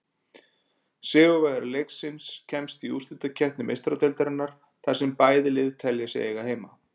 Sigurvegari leiksins kemst í útsláttarkeppni Meistaradeildarinnar, þar sem bæði lið telja sig eiga heima.